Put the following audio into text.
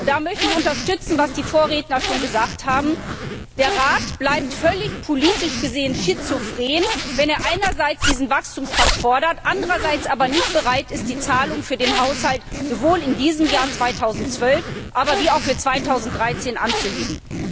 Da möchte ich unterstützen, was die Vorredner schon gesagt haben Der Rat bleibt politisch gesehen völlig schizophren, wenn er einerseits diesen Wachstumspakt fordert, andererseits aber nicht bereit ist, die Zahlungen für den Haushalt sowohl in diesem Jahr als auch für 2013 anzuheben.